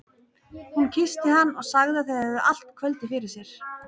Hún kyssti hann og sagði að þau hefðu allt kvöldið fyrir sér.